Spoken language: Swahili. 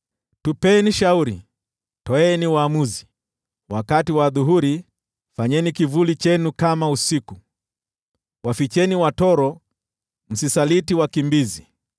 “Tupeni shauri, toeni uamuzi. Wakati wa adhuhuri, fanyeni kivuli chenu kama usiku. Waficheni watoro, msisaliti wakimbizi.